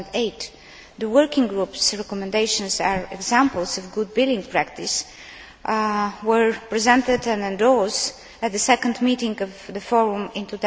2008. The working group's recommendations are examples of good billing practice and were presented and endorsed at the second meeting of the Forum in